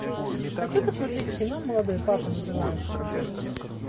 хочу посмотреть кино молодой папа называется